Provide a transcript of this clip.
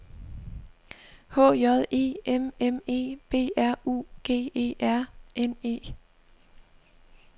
H J E M M E B R U G E R N E